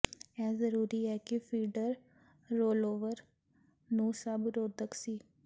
ਇਹ ਜ਼ਰੂਰੀ ਹੈ ਕਿ ਫੀਡਰ ਰੋਲਓਵਰ ਨੂੰ ਸਭ ਰੋਧਕ ਸੀ